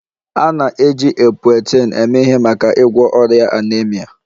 A na-eji Epoetin eme ihe maka ịgwọ ọrịa anaemia